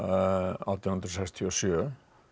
átján hundruð sextíu og sjö